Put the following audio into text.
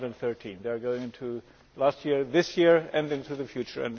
2013. They are going into last year, this year and then into the future.